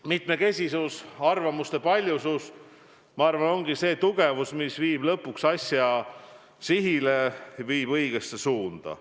Mitmekesisus, arvamuste paljusus ongi see tugevus, mis viib lõpuks sihile, viib õigesse suunda.